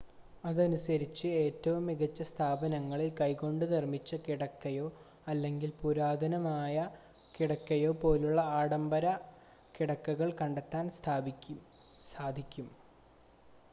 അതനുസരിച്ച് ഏറ്റവും മികച്ച സ്ഥാപനങ്ങളിൽ കൈകൊണ്ട് നിർമ്മിച്ച കിടക്കയോ അല്ലെങ്കിൽ പുരാതനമായ കിടക്കയോ പോലുള്ള ആഡംബര കിടക്കകൾ കണ്ടെത്താൻ സാധിക്കും